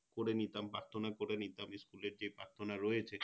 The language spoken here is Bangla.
করে নিতাম প্রার্থনা করে নিতাম School এ যেই প্রার্থনা রয়েছে